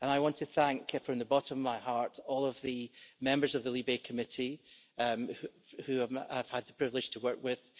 I want to thank from the bottom of my heart all of the members of the LIBE Committee who I've had the privilege to work with.